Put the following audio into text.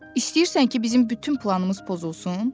İstəyirsən ki, bizim bütün planımız pozulsun?